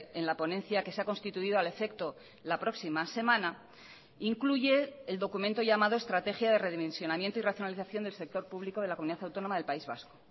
en la ponencia que se ha constituido al efecto la próxima semana incluye el documento llamado estrategia de redimensionamiento y racionalización del sector público de la comunidad autónoma del país vasco